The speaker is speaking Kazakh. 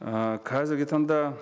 ііі қазіргі таңда